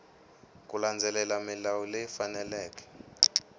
ku landzelela milawu leyi faneleke